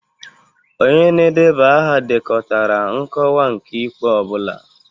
Onye na-edeba aha dekọtara nkọwa nke ikpe ọ bụla.